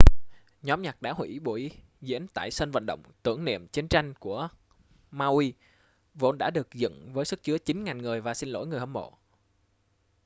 nhóm nhạc đã hủy buổi diễn tại sân vận động tưởng niệm chiến tranh của maui vốn đã được dựng với sức chứa 9.000 người và xin lỗi người hâm mộ